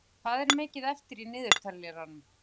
Grímheiður, hvað er mikið eftir af niðurteljaranum?